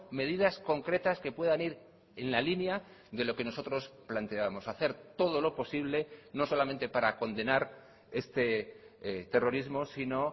medidas concretas que puedan ir en la línea de lo que nosotros planteábamos hacer todo lo posible no solamente para condenar este terrorismo sino